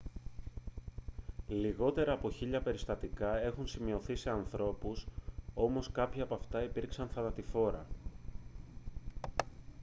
λιγότερα από χίλια περιστατικά έχουν σημειωθεί σε ανθρώπους όμως κάποια από αυτά υπήρξαν θανατηφόρα